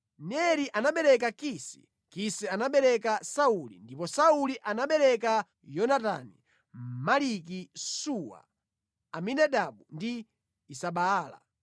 Neri anabereka Kisi. Kisi anabereka Sauli, ndipo Sauli anabereka Yonatani, Maliki-Suwa, Abinadabu ndi Esibaala.